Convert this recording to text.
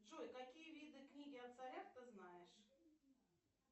джой какие виды книги о царях ты знаешь